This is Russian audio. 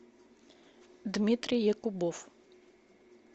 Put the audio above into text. дмитрий якубов